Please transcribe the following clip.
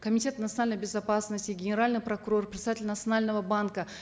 комитета национальной безопасности генеральный прокурор председатель национального банка